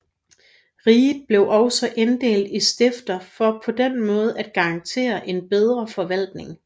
Riget blev også inddelt i stifter for på den måde at garantere en bedre forvaltning